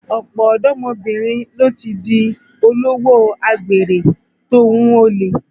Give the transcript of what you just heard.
Ọ̀pọ̀ ọ̀dọ́mọbìnrin ló ti di olówò àgbèrè tòhun olè